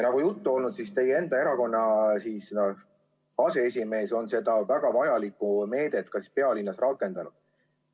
Nagu juttu on olnud, teie erakonna aseesimees on seda väga vajalikku meedet pealinnas ka rakendanud.